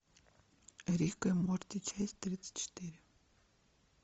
рик и морти часть тридцать четыре